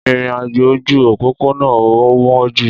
Ìrìn àjò ojú òpópónà ò wọ́n jù